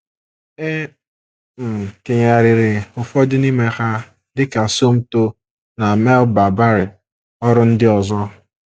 E um kenyegharịrị ụfọdụ n’ime ha, dị ka Somto na Melba Barry, ọrụ ndị ọzọ.